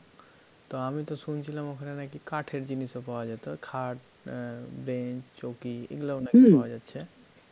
তো আমি তো শুনছিলাম ওখানে নাকি কাঠের জিনিসও পাওয়া যায় ওই খাট বেঞ্চ চৌকি এগুলা নাকি পাওয়া যাছে,